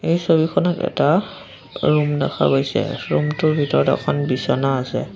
এই ছবিখনত এটা ৰুম দেখা গৈছে ৰুম টোৰ ভিতৰত এখন বিছনা আছে।